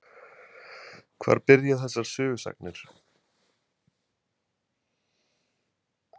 Hvar byrja þessar sögusagnir?